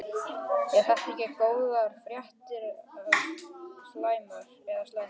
Eru það góðar fréttir eða slæmar?